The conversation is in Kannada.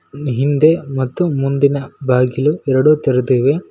ಹಿಂದೆ ಮತ್ತು ಮುಂದಿನ ಬಾಗಿಲು ಎರಡು ತೆರೆದಿವೆ.